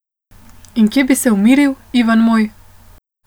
In kje bi se umiril, Ivan moj?